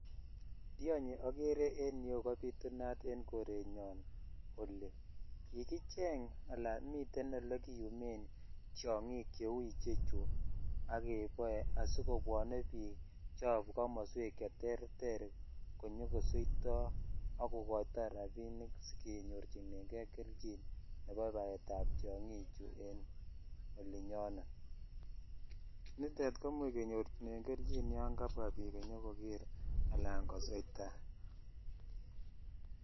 Tionyi akere en yu kopitunat en korennyon oli. Ye kicheng' alan miten ole kiumen tiang'iik che u che chu ak kepae asikopwane piik cha pa komaswek che ter ter ko nyuko suitoi ako koitai rapinik si kenyorchinegei kelchin nepa paet ap tiang'ikchu eng' ole nyonet. Nitet ko much kenyorchinen kelchin ola kapwa piik koker anan kosoita.